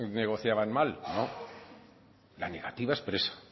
negociaban mal no la negativa expresa